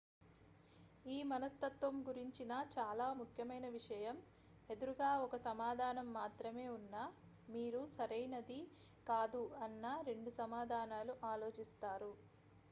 ఈ మనస్తత్వం గురించిన చాలా ముఖ్యమైన విషయం ఎదురుగా 1సమాధానం మాత్రమే ఉన్నా మీరు సరైనది కాదు అన్న 2 సమాధానాలు ఆలోచిస్తారు